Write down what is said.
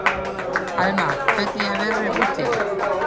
Alma, hvernig er veðrið úti?